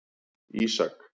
Ísak